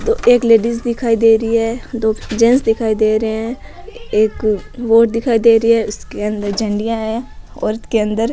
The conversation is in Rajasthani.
एक लेडीज दिखाई दे रही है दो जेन्ट्स दिखाई दे रहे है एक बोट दिखाई दे रही है उसके अंदर झंडिया है औरत के अंदर --